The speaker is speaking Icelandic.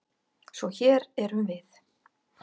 Svo hér erum við.